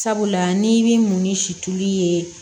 Sabula n'i bɛ mun ni situlu ye